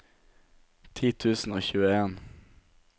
ti tusen og tjueen